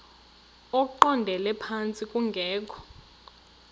eqondele phantsi kungekho